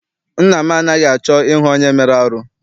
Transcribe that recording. Nna m anaghị achọ I hụ onye mere arụ.